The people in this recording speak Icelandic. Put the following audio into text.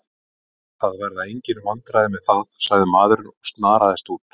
Það verða engin vandræði með það, sagði maðurinn og snaraðist út.